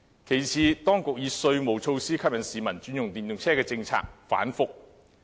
其次，當局以稅務措施吸引市民轉用電動車的政策反覆。